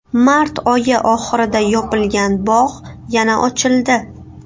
Mart oyi oxirida yopilgan bog‘ yana ochildi.